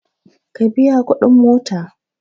Ku biya kuɗin mota!